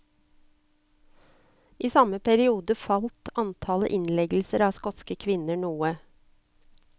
I samme periode falt antallet innleggelser av skotske kvinner noe.